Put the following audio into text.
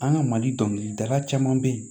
An ka mali dɔnkilidala caman be yen